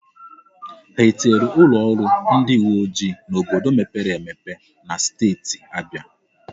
Ha etinyere ụlọ ọrụ ndị uwe ojii n'obodo mepere emepe na steeti Abịa?